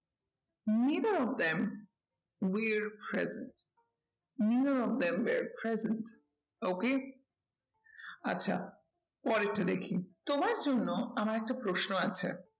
Neither of them we are present, neither of them we are present okay আচ্ছা পরেরটা দেখি তোমার জন্য আমার একটা প্রশ্ন আছে